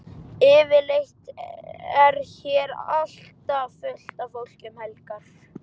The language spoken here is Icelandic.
Yfirleitt er hér alltaf fullt af fólki um helgar.